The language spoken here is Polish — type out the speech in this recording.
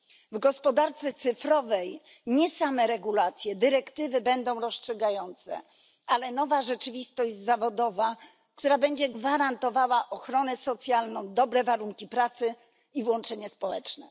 W gospodarce cyfrowej nie same regulacje, dyrektywy będą rozstrzygające, ale nowa rzeczywistość zawodowa, która będzie gwarantowała ochronę socjalną, dobre warunki pracy i włączenie społeczne.